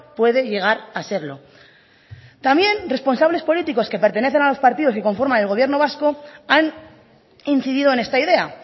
puede llegar a serlo también responsables políticos que pertenecen a los partidos y conforman el gobierno vasco han incidido en esta idea